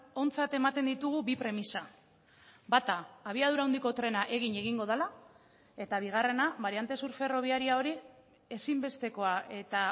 ontzat ematen ditugu bi premisa bata abiadura handiko trena egin egingo dela eta bigarrena bariante sur ferrobiaria hori ezinbestekoa eta